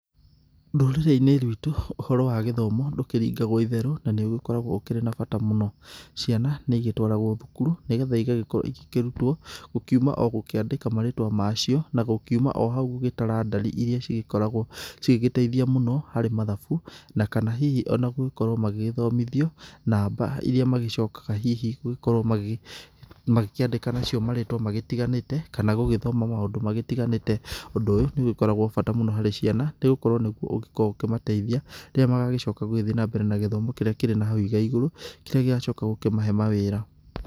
Rũrĩrĩi-inĩ ruitũ ũhoro wa gĩthomo ndũkĩringagwo itherũ na nĩ ũgĩkoragwo ũkĩrĩ na bata mũno. Ciana nĩ igĩtwaragwo thukuru nĩ getha igagĩkorwo igĩkĩrutwo gũkiuma ogũkĩandĩka marĩtwa macio na gũkiuma o hau gũgĩtara ndari iria cigĩkoragwo igĩteithia mũno harĩ mathabu na kana hihi ona gũgĩkorwo magĩthomithio namba iria magĩcokaga hihi gũgĩkorwo magĩkĩandĩka marĩtwa magĩtiganĩte. Kana gũgĩthoma maũndũ magĩtiganĩte. Ũndũ ũyũ nĩ ũgĩkoragwo bata mũno harĩ ciana nĩ gũkorwo nĩguo ũkoragwo ũkĩmateithia rĩrĩa magagĩcoka gũgĩthiĩ na mbere na gĩthomo kĩrĩa kĩrĩ na hau igaigũrũ kĩrĩa gĩgacoka gũkĩmahe mawĩra.